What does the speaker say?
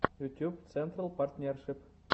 ютьюб централ партнершип